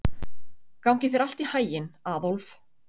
Gangi þér allt í haginn, Aðólf.